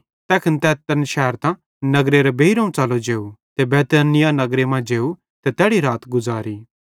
तैखन तै तैन शैरतां नगरे बेइरोवं च़लो जेव ते बैतनिय्याह नगरे मां जेव ते तैड़ी रात गुज़ारी